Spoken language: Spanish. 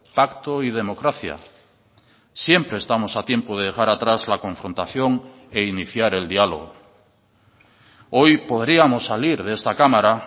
pacto y democracia siempre estamos a tiempo de dejar atrás la confrontación e iniciar el diálogo hoy podríamos salir de esta cámara